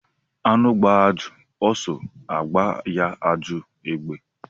Anụ gbaa ajọ ọsọ agba ya ajọ egbe